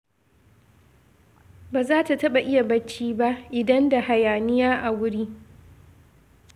Ba za ta taɓa iya barci ba, idan da hayaniya a wuri